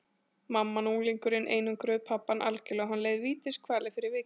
Mamman og unglingurinn einangruðu pabbann algjörlega og hann leið vítiskvalir fyrir vikið.